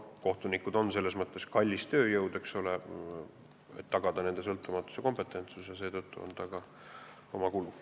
Kohtunikud on selles mõttes kallis tööjõud, eks ole, et on vaja tagada nende sõltumatus ja kompetentsus, seetõttu on seal ka oma kulud.